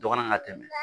Dɔgɔnan ka tɛmɛ